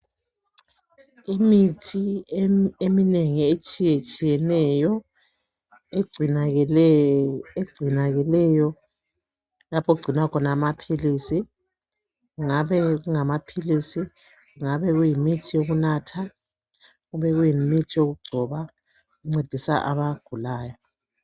Imithi eminengi etshiyetshiyeneyo egcinakeleyo lapho okugcinwa khona amaphilisi .Kungabe kungamaphilisi ,kungabe kuyimithi yokunatha ,kungabe kuyimithi yokugcoba encedisa abagulayo .